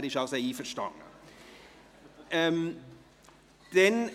Er ist einverstanden damit!